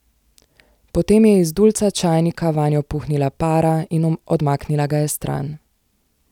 Potem je iz dulca čajnika vanjo puhnila para in odmaknila ga je stran.